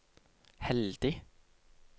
heldig